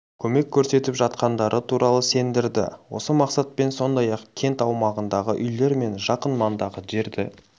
көмек көрсетіп жатқандары туралы сендірді осы мақсатпен сондай-ақ кент аумағындағы үйлер мен жақын маңдағы жерді